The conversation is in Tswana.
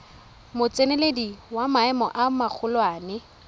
motseneledi wa maemo a magolwane